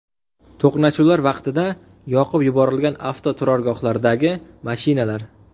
To‘qnashuvlar vaqtida yoqib yuborilgan avtoturargohlardagi mashinalar.